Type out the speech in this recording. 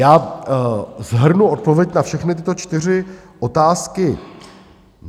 Já shrnu odpověď na všechny tyto čtyři otázky.